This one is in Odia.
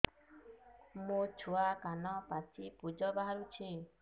ମୋ ଛୁଆ କାନ ପାଚି ପୂଜ ବାହାରୁଚି